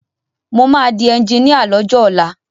Mo máa di ẹnjiníà lọ́jọ́ ọ̀la.